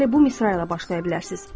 Elə bu misra ilə başlaya bilərsiniz.